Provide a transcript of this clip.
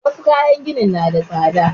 Wassu kayan gini na da tsada